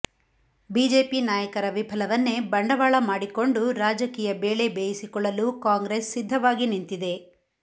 BJP ನಾಯಕರ ವಿಫಲವನ್ನೇ ಬಂಡವಾಳ ಮಾಡಿಕೊಂಡು ರಾಜಕೀಯ ಬೇಳೆ ಬೇಯಿಸಿಕೊಳ್ಳಲು ಕಾಂಗ್ರೆಸ್ ಸಿದ್ಧವಾಗಿ ನಿಂತಿದೆ